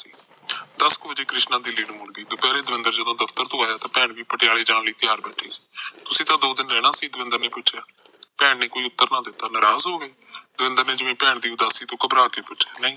ਦਸ ਕ ਵਜੇ ਕ੍ਰਿਸ਼ਨਾ ਦਿੱਲੀ ਨੂੰ ਮੁੜ ਗਈ ਦੁਪਿਹਰੇ ਦਵਿੰਦਰ ਜਦੋਂ ਦਫਤਰ ਤੋ ਆਇਆ ਤਾ ਭੈਣ ਵੀ ਪਟਿਆਲੇ ਜਾਣ ਲਈ ਤਿਆਰ ਬੈਠੀ ਸੀ ਤੂਸੀ ਤਾ ਦੋ ਦਿਨ ਰਹਿਣਾ ਸੀ ਦਵਿੰਦਰ ਨੇ ਪੁਛਿਆ ਭੈਣ ਨੇ ਕੋਈ ਉਤਰ ਨਾ ਦਿੱਤਾ ਨਰਾਜ ਹੋਗੀ ਦਵਿੰਦਰ ਨੇ ਜਿਵੇ ਭੈਣ ਦੀ ਨਰਾਜਗੀ ਤੋ ਖਬਰਾ ਕੇ ਪੁਛਿਆ ਨਹੀਂ